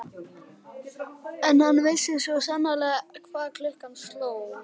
En hann vissi svo sannarlega hvað klukkan sló.